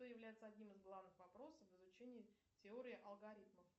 что является одним из главных вопросов в изучении теории алгоритмов